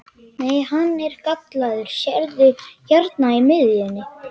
Nei, hann er gallaður, sérðu hérna í miðjunni.